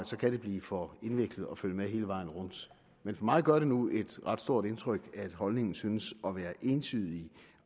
så kan blive for indviklet at følge med hele vejen rundt men for mig gør det nu et ret stort indtryk at holdningen synes at være entydigt